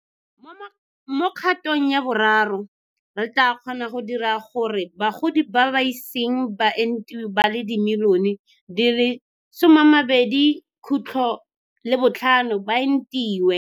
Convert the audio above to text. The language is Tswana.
Mo Kgatong ya Boraro, re tla kgona go dira gore bagodi ba ba iseng ba entiwe ba le dimilione di le 20.5 ba entiwe.